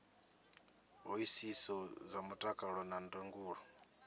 hoisiso dza mutakalo na ndangulo